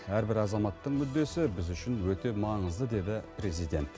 әрбір азаматтың мүддесі біз үшін өте маңызды деді президент